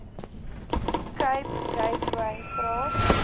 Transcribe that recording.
cape gateway praat